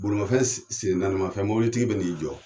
Bolimafɛn sen naanimafɛn, mobilitigi bɛ n'i jɔ.